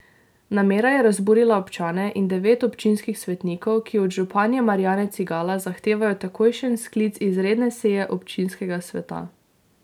Namera je razburila občane in devet občinskih svetnikov, ki od županje Marijane Cigala zahtevajo takojšen sklic izredne seje občinskega sveta.